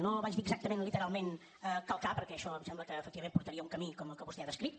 no vaig dir exactament literalment calcar perquè això em sembla que efectivament portaria a un camí com el que vostè ha descrit